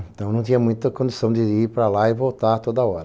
Então não tinha muita condição de ir para lá e voltar toda hora.